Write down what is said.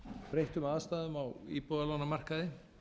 breyttum aðstæðum á íbúðalánamarkaði